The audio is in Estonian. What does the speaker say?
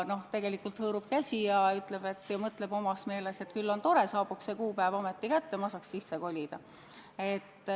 Tegelikult aga hõõrub käsi ja mõtleb omas meeles, et küll on tore ja jõuaks see kuupäev ometi kätte, ma saaks sisse kolida.